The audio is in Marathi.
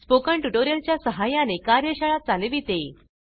स्पोकन टयूटोरियल च्या सहाय्याने कार्यशाळा चालविते